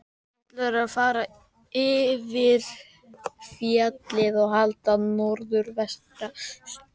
Ætlunin var að fara fyrir fjallið og halda norður vesturströndina.